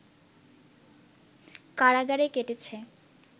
কারাগারে কেটেছে